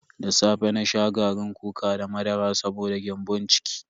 Da safe na sha garin kuka da madara saboda gyambon ciki.